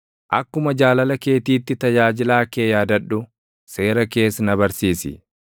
Akkuma jaalala keetiitti tajaajilaa kee yaadadhu; seera kees na barsiisi.